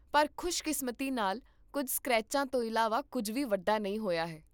ਪਰ ਖੁਸ਼ਕਿਸਮਤੀ ਨਾਲ, ਕੁੱਝ ਸਕ੍ਰੈਚਾਂ ਤੋਂ ਇਲਾਵਾ ਕੁੱਝ ਵੀ ਵੱਡਾ ਨਹੀਂ ਹੋਇਆ ਹੈ